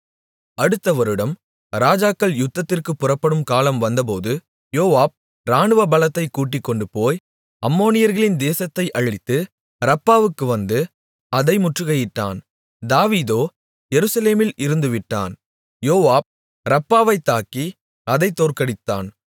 அடுத்த வருடம் ராஜாக்கள் யுத்தத்திற்குப் புறப்படும் காலம் வந்தபோது யோவாப் இராணுவ பலத்தைக் கூட்டிக்கொண்டுபோய் அம்மோனியர்களின் தேசத்தை அழித்து ரப்பாவுக்கு வந்து அதை முற்றுகையிட்டான் தாவீதோ எருசலேமில் இருந்துவிட்டான் யோவாப் ரப்பாவைத் தாக்கி அதைத் தோற்கடித்தான்